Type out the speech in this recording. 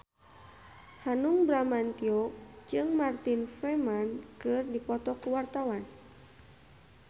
Hanung Bramantyo jeung Martin Freeman keur dipoto ku wartawan